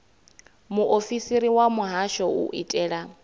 muofisiri wa muhasho u itela